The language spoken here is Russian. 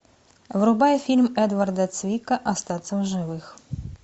врубай фильм эдварда цвика остаться в живых